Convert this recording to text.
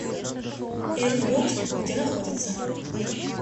иркут где находится